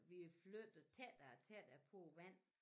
Vi er flyttet tættere og tættere på æ vand